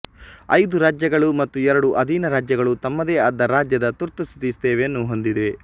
ಐದು ರಾಜ್ಯಗಳು ಮತ್ತು ಎರಡು ಅಧೀನರಾಜ್ಯಗಳು ತಮ್ಮದೇ ಆದ ರಾಜ್ಯದ ತುರ್ತುಸ್ಥಿತಿ ಸೇವೆಯನ್ನು ಹೊಂದಿವೆ